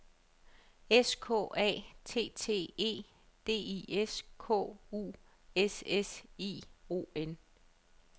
S K A T T E D I S K U S S I O N